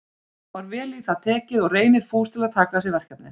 Var vel í það tekið og Reynir fús til að taka að sér verkefnið.